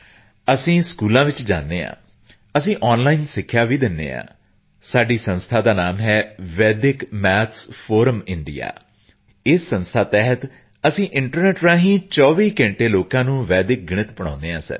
ਅਸੀਂ ਸਕੂਲਾਂ ਵਿੱਚ ਜਾਂਦੇ ਹਾਂ ਅਸੀਂ ਔਨਲਾਈਨ ਸਿੱਖਿਆ ਦਿੰਦੇ ਹਾਂ ਸਾਡੀ ਸੰਸਥਾ ਦਾ ਨਾਮ ਹੈ ਵੈਦਿਕ ਮੈਥਸ ਫੋਰਮ ਇੰਡੀਆ ਉਸ ਸੰਸਥਾ ਦੇ ਤਹਿਤ ਅਸੀਂ ਇੰਟਰਨੈੱਟ ਰਾਹੀਂ 24 ਘੰਟੇ ਵੈਦਿਕ ਗਣਿਤ ਪੜ੍ਹਾਉਂਦੇ ਹਾਂ ਸਰ